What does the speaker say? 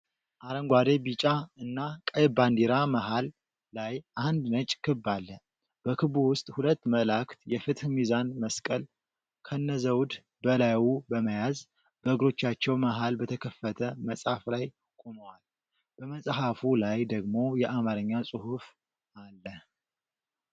አረንጓዴ፣ ቢጫ እና ቀይ ባንዲራ መሃል ላይ አንድ ነጭ ክብ አለ። በክቡ ውስጥ ሁለት መላእክት የፍትህ ሚዛን መስቀል ከነዘውድ በላዩ በመያዝ በእግሮቻቸው መሃል በተከፈተ መጽሐፍ ላይ ቆመዋል። በመጽሐፉ ላይ ደግሞ የአማርኛ ጽሑፍ አለ።